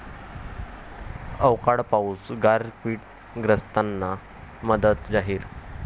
अवकाळी पाऊस, गारपीटग्रस्तांना मदत जाहीर